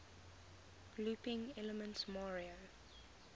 looping elements mario